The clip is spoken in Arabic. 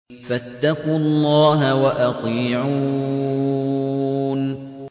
فَاتَّقُوا اللَّهَ وَأَطِيعُونِ